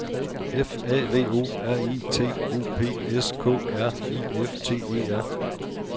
F A V O R I T O P S K R I F T E R